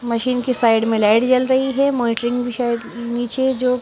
machine की side में light जल रही है मॉनिटरिंग भी शायद नीचे जो--